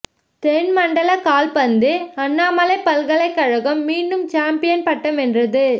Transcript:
தென் மண்டல கால்பந்து அண்ணாமலை பல்கலைக்கழகம் மீண்டும் சாம்பியன் பட்டம் வென்றது